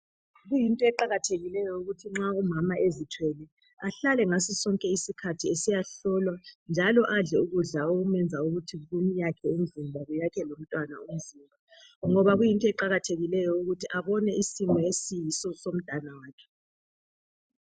Kuyinto eqakathekileyo ukuthi nxa umama ezithwele ahlale ngaso sonke isikhathi esiya hlolwa njalo adle ukudla okumenza ukuthi kumyakhe umzimba kuyakhe lomntwana umzimba ngoba kuyinto eqakathekileyo eqakathekileyo ukuthi abone isimo esiyiso somntwana wakhe.